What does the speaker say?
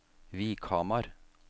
Vikhamar